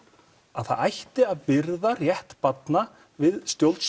að það ætti að byrða rétt barna við